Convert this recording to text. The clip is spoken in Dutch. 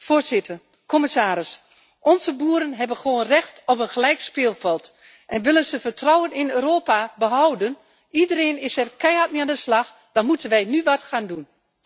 Voorzitter, commissaris, onze boeren hebben gewoon recht op een gelijk speelveld en willen ze vertrouwen in Europa behouden iedereen is er keihard mee aan de slag dan moeten wij nu wat gaan doen.